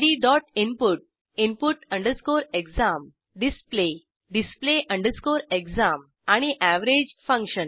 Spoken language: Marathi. gdinput input exam display display exam आणि एव्हरेज फंक्शन